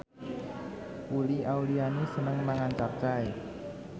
Uli Auliani seneng mangan capcay